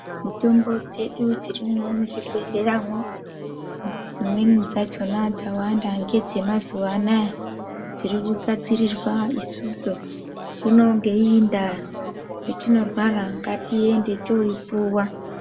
Mitombo dzedu dzirimwo muzvibhedhleramwo dzimwe dzachona dzawanda ngedzemazuwanaya dzirikugadzirirwa isusu zvino ngeiyi ndaa petinorwara ngatiende toipuwa.